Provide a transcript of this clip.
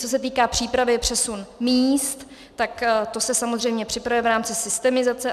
Co se týká přípravy přesunu míst, tak to se samozřejmě připravuje v rámci systemizace.